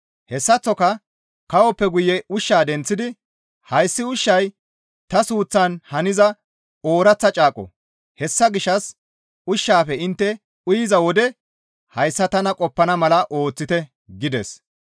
Hessaththoka kawoppe guye ushshaa denththidi, «Hayssi ushshay ta suuththan haniza ooraththa caaqo; hessa gishshas ushshaafe intte uyiza wode hayssa tana qoppana mala ooththite» gides.